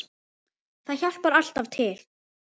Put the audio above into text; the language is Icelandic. Það hjálpar alltaf til.